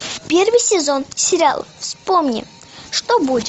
первый сезон сериал вспомни что будет